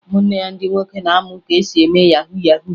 Ụmụnne ya ndị nwoke na-amụ ka esi eme yahu yahu